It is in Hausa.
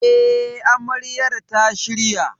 E, Amaryar ta shirya.